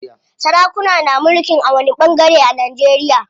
Sarakuna na mulkin a wani ɓangare a Najeriya.